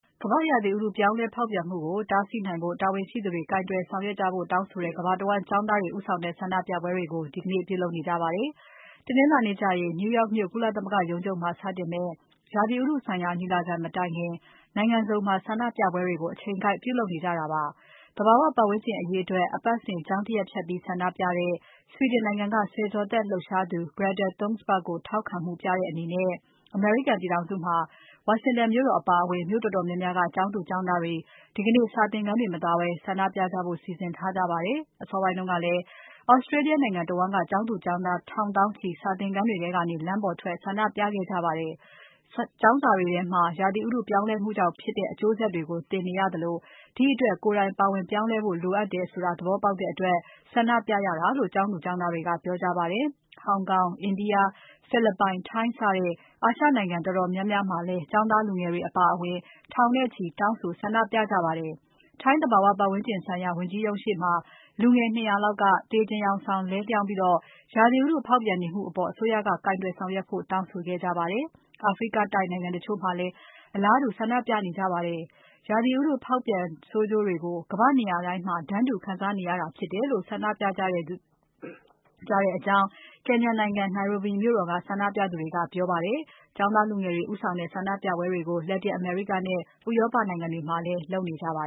ကမ္ဘာ့ရာသီဥတု ပြောင်းလဲဖောက်ပြန်မှုကိုတားဆီးနိုင်ဖို့ တာဝန်ရှိသူတွေ ကိုင်တွယ်ဆောင်ရွက်ကြဖို့တောင်းဆိုတဲ့ ကမ္ဘာတဝန်း ဆန္ဒပြပွဲတွေကို ဒီကနေ့ ပြုလုပ်နေကြပါတယ်။ တနင်္လာနေ့ကျရင် New York မြို့မှာ ကုလသမဂ္ဂရုံးချုပ်မှာ စတင်မယ့် ရာသီဥတုဆိုင်ရာ ညီလာခံမတိုင်ခင် နိုင်ငံစုံမှာ ဆန္ဒပြပွဲတွေကို အချိန်ကိုက်ပြုလုပ်နေကြတာပါ။ သဘာဝပတ်ဝန်းကျင်အရေးအတွက် အပတ်စဉ် ကျောင်းတရက်ဖျက်ပြီး ဆန္ဒပြတဲ့ Sweden နိုင်ငံက ဆယ်ကျော်သက် လှုပ်ရှားသူ Greta Thunberg ကိုထောက်ခံမှုုပြတဲ့အနေနဲ့ အမေရိကန်ပြည်ထောင်စုမှာ ဝါရှင်တန်မြို့တော်အပါအဝင် မြို့တော်တော်များများက ကျောင်းသူ ကျောင်းသားတွေ ဒီကနေ့ စာသင်ခန်းတွေ မသွားဘဲ ဆန္ဒပြကြဖို့ စီစဉ်ထားကြပါတယ်။ အစောပိုင်းကလည်း Australia နိုင်ငံတဝန်းက ကျောင်းသူ ကျောင်းသား ထောင်သောင်းချီ စာသင်ခန်းတွေထဲကနေ လမ်းပေါ်ထွက် ဆန္ဒပြခဲ့ကြပါတယ်။ ကျောင်းစာတွေထဲမှာ ရာသီဥတု ပြောင်းလဲမှုကြောင့်ဖြစ်တဲ့ အကျိုးဆက်တွေကို သင်နေရသလို ဒီ့အတွက် ကိုယ်တိုင်ပါဝင်ပြောင်းလဲဖို့လိုတယ်ဆိုတာ သဘောပေါက်တဲ့အတွက် ဆန္ဒပြရတာဖြစ်တယ်လို့ ဆန္ဒပြကျောင်းသူ ကျောင်းသားတွေက ပြောကြပါတယ်။ ဟောင်ကောင်၊ India၊ ဖိလစ်ပိုင်၊ ထိုင်း စတဲ့ အာရှနိုင်ငံ တော်တော်များများမှာလည်း ကျောင်းသား လူငယ်တွေအပါအဝင် ထောင်နဲ့ချီ တောင်းဆိုဆန္ဒပြကြပါတယ်။ ထိုင်းသဘာဝပတ်ဝန်းကျင်ဆိုင်ရာ ဝန်ကြီးရုံးရှေ့မှာ လူငယ် ၂၀၀ လောက်က သေချင်ယောင်ဆောင် လဲလျောင်းပြီး ရာသီဥတုဖောက်ပြန်နေမှုအပေါ် အစိုးရက ကိုင်တွယ်ဆောင်ရွက်ဖို့ တောင်းဆိုခဲ့ပါတယ်။ အာဖရိကတိုက် နိုင်ငံတချို့မှာလည်း အလားတူဆန္ဒပြနေကြပါတယ်။ ရာသီဥတုဖောက်ပြန်ဆိုးကျိုးကို ကမ္ဘာ့နေရတိုင်းမှာ တန်းတူခံစားနေရတာဖြစ်လို့ ဆန္ဒပြရတာဖြစ်တယ်လို့ Kenya နိုင်ငံ Nairobi မြို့တော်က ဆန္ဒပြသူတွေက ပြောပါတယ်။ ရာသီဥတု ပြောင်းလဲဖောက်ပြန်မှုတိုက်ဖျက်ရေး ကျောင်းသားလူငယ်တွေဦးဆောင်တဲ့ ဆန္ဒပြပွဲတွေကို လက်တင်အမေရိကနဲ့ ဥရောပနိုင်ငံ တွေမှာလည်း လုပ်နေပါ